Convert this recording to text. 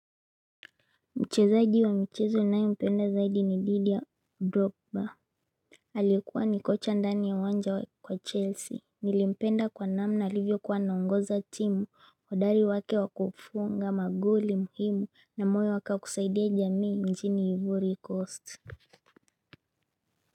Mchezaji wa mchezo nae mpenda zaidi ni didi ya grobda. Aliekuwa ni kocha ndani ya uwanja wa chelsea. Nilimpenda kwa namna alivyo kuwa naongoza timu uhodari wake wakufunga magoli muhimu na moyo wake kusaidia jamii nchini ivory coast.